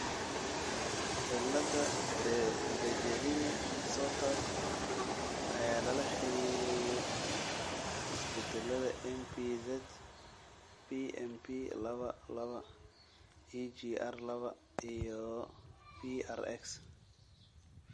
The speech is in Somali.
Cilada Dejerine Sottas ayaa lala xiriiriyay isbeddellada MPZ, PMPlaba laba, EGR laba, iyo PRX.